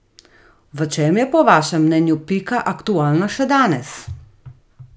V čem je po vašem mnenju Pika aktualna še danes?